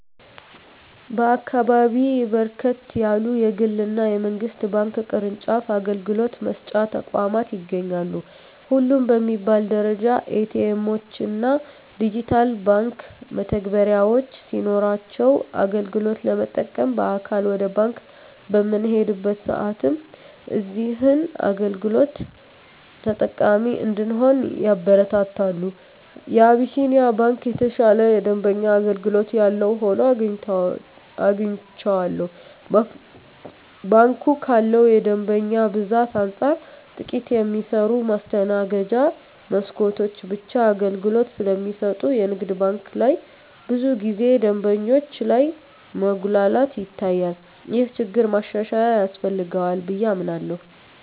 በአካባቢየ በርከት ያሉ የግል እና የመንግስት ባንክ ቅርጫፍ አገልግሎት መስጫ ተቋማት ይገኛሉ። ሁሉም በሚባል ደረጃ ኤ.ቲ. ኤምዎች እና ዲጂታል የባንክ መተግበሪያዎች ሲኖሯቸው አገልግሎት ለመጠቀም በአካል ወደ ባንክ በምንሄድበት ሰአትም እዚህን አገልግሎቶች ተጠቃሚ እንድንሆን ያበረታታሉ። የአቢስንያ ባንክ የተሻለ የደንበኛ አገልግሎት ያለው ሆኖ አግኝቸዋለሁ። ባንኩ ካለው የደንበኛ ብዛት አንፃር ጥቂት የሚሰሩ የማስተናገጃ መስኮቶች ብቻ አገልግሎት ስለሚሰጡ የንግድ ባንክ ላይ ብዙ ጊዜ ደንበኞች ላይ መጉላላት ይታያል። ይህ ችግር ማሻሻያ ያስፈልገዋል ብየ አምናለሁ።